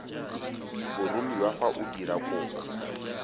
boromiwa fa o dira kopo